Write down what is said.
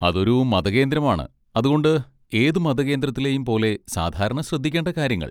അതൊരു മതകേന്ദ്രമാണ്, അതുകൊണ്ട് ഏത് മതകേന്ദ്രത്തിലെയും പോലെ സാധാരണ ശ്രദ്ധിക്കേണ്ട കാര്യങ്ങൾ.